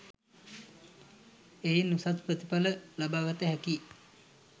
එයින් උසස් ප්‍රතිඵල ලබාගත හැකියි.